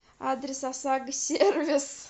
адрес осаго сервис